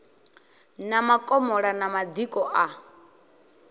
na makomola na madiko a